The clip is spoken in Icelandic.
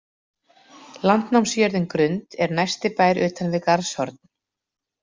Landnámsjörðin Grund er næsti bær utan við Garðshorn.